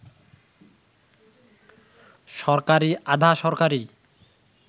সরকারি, আধা-সরকারি